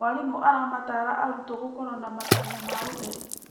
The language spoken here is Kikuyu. Mwarimũ aramatara arutwo gũkorwo na matanya ma ũtheri.